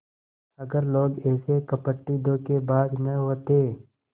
अगर लोग ऐसे कपटीधोखेबाज न होते